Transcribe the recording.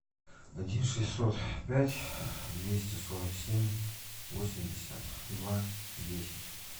один шестьсот пять двести сорок семь восемьдесят два десять